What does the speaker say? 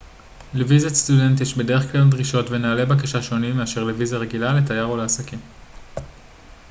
לוויזת סטודנט יש בדרך כלל דרישות ונהלי בקשה שונים מאשר לוויזה רגילה לתייר או לעסקים